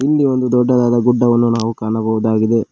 ಇಲ್ಲಿ ಒಂದು ದೊಡ್ಡದಾದ ಗುಡ್ಡವನ್ನು ನಾವು ಕಾಣಬಹುದಾಗಿದೆ.